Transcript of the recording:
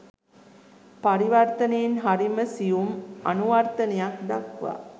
පරිවර්තනයෙන් හරිම සියුම් අනුවර්තනයක් දක්වා